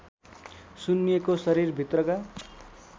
सुन्निएको शरीरभित्रका